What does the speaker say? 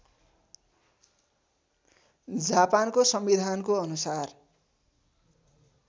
जापानको संविधानको अनुसार